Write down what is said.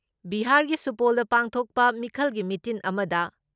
ꯕꯤꯍꯥꯥꯔꯒꯤ ꯁꯨꯄꯣꯜꯗ ꯄꯥꯡꯊꯣꯛꯄ ꯃꯤꯈꯜꯒꯤ ꯃꯤꯇꯤꯟ ꯑꯃꯗ